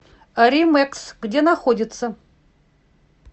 римэкс где находится